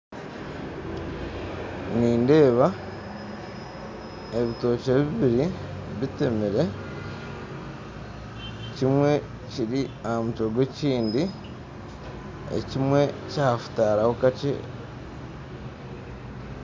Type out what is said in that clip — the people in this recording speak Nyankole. Nindeeba ebitokye bibiri bitemere, kimwe kiri aha mutwe gwa ekindi, ekimwe kyahutaraho kakye